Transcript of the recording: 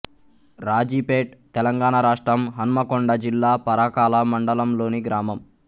రాజీపేట్ తెలంగాణ రాష్ట్రం హన్మకొండ జిల్లా పరకాల మండలం లోని గ్రామం